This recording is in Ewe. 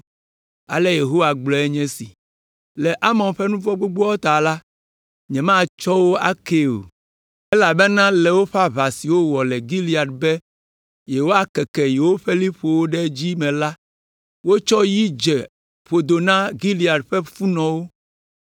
Ale Yehowa gblɔe nye esi: “Le Amon ƒe nu vɔ̃ gbogboawo ta la, nyematsɔ wo akee o, elabena le woƒe aʋa si wowɔ le Gilead be yewoakeke yewoƒe liƒowo ɖe edzi me la, wotsɔ yi dze ƒodo na Gilead ƒe funɔwo.